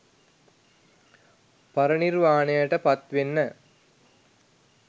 පරණිර්වාණයට පත්වෙන්න